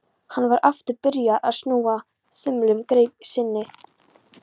Hann var aftur byrjaður að snúa þumlunum í greip sinni.